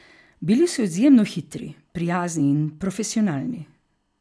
Bili so izjemno hitri, prijazni in profesionalni.